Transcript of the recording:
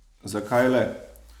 Zakaj le?